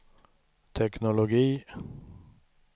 teknologi